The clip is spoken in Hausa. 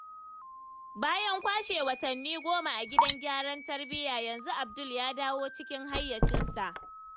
Bayan kwashe watanni 10 a gidan gyaran tarbiyya yanzu Abdul ya dawo cikin hayyacinsa.